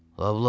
Loblə.